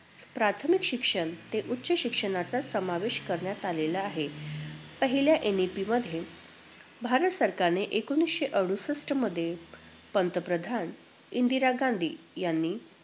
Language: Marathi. प्राथमिक शिक्षण ते उच्चं शिक्षणाचा समावेश करण्यात आलेला आहे. पहिल्या NEP मध्ये भारत सरकारने एकोणवीसशे अडुसष्ठमध्ये पंतप्रधान इंदिरा गांधी यांनी